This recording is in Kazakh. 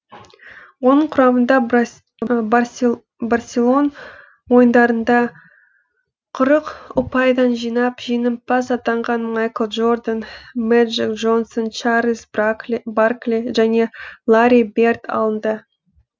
оның құрамында барселон ойындарында қырық ұпайдан жинап жеңімпаз атанған майкл джордан мэджик джонсон чарльз баркли және ларри берд алынды